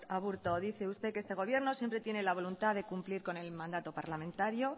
aburto dice usted que este gobierno siempre tiene la voluntad de cumplir con el mandato parlamentario